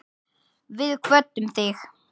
Við kvöddum þig.